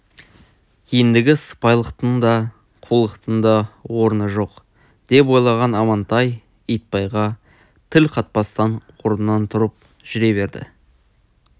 ендігі сыпайылықтың да қулықтың да орны жоқ деп ойлаған амантай итбайға тіл қатпастан орнынан тұрып жүре берді